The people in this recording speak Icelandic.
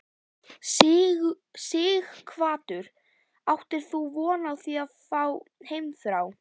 Sighvatur: Áttir þú von á því að fá heimþrá?